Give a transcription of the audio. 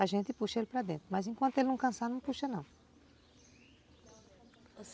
A gente puxa ele para dentro, mas enquanto ele não cansar, não puxa não.